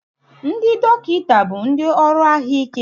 Ndị dọkịta bụ ndị ọrụ ahụike